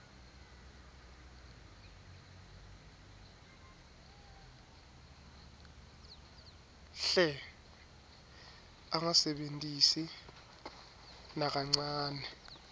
hle angasebentisi nakancane